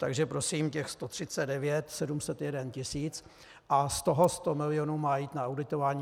Takže prosím, těch 139 701 000 a z toho 100 milionů má jít na auditování.